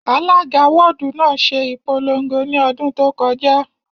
Alága wọ́ọ̀dù náà ṣe ìpolongo ní ọdún tó kọjá